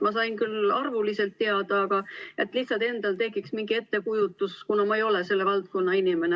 Ma sain küll arvuliselt teada, aga sooviksin, et lihtsalt endal tekiks mingi ettekujutus, kuna ma ei ole selle valdkonna inimene.